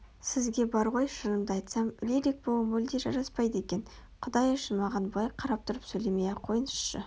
сізге бар ғой шынымды айтсам лирик болу мүлде жараспайды екен Құдай үшін маған бұлай қарап тұрып сөйлемей-ақ қойыңызшы